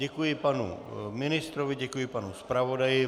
Děkuji panu ministrovi, děkuji panu zpravodaji.